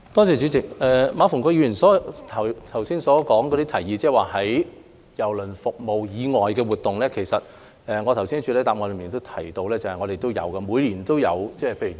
主席，馬逢國議員剛提出的提議，即舉辦郵輪服務以外的活動，其實我剛才在主體答覆中已提及我們每年也有舉辦有關活動。